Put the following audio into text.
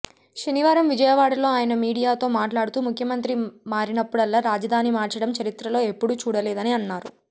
శనివారం విజయవాడలో ఆయన మీడియాతో మాట్లాడుతూ ముఖ్యమంత్రి మారినప్పుడల్లా రాజధాని మార్చడం చరిత్రలో ఎప్పుడూ చూడలేదని అన్నారు